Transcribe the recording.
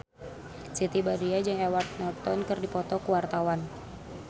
Siti Badriah jeung Edward Norton keur dipoto ku wartawan